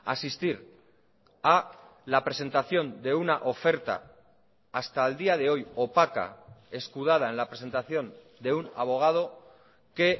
asistir a la presentación de una oferta hasta el día de hoy opaca escudada en la presentación de un abogado que